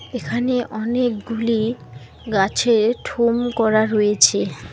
এখানে অনেকগুলি গাছের ঠোম করা রয়েছে।